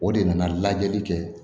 O de nana lajɛli kɛ